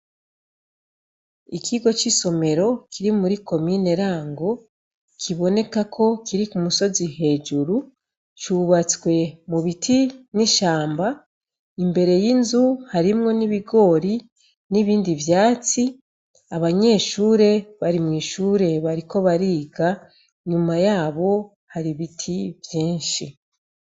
Ikigo c'isomero kiri muri komine Rango, kiboneka ko kiri ku musozi hejuru. Cubatswe mu biti n'ishamba. Imbere y'inzu harimwo n'ibigori n'ibindi vyatsi. Abanyeshure bari mw'ishure bariko bariga, nyuma yabo hari ibiti vyinshi.